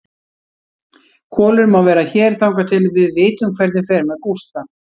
Kolur má vera hér þangað til við vitum hvernig fer með Gústa.